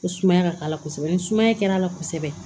Ko sumaya ka k'a la kosɛbɛ ni sumaya kɛra a la kosɛbɛ